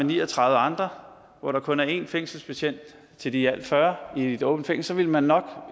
ni og tredive andre hvor der kun er en fængselsbetjent til de i alt fyrre i et åbent fængsel så ville man nok